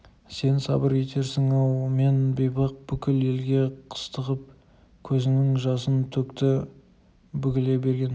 сен сабыр етерсің-ау мен бейбақ бүкіл елге қыстығып көзінің жасын төкті бүгіле берген